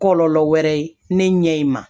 Kɔlɔlɔ wɛrɛ ne ɲɛ in ma